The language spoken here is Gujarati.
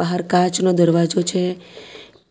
બહાર કાચનો દરવાજો છે